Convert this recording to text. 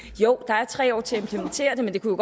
jo der er tre år til at implementere det men det kunne